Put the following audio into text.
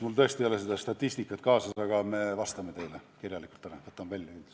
Mul tõesti ei ole seda statistikat kaasas, aga me vastame teile kirjalikult, võtame andmed kindlasti välja.